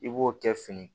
I b'o kɛ fini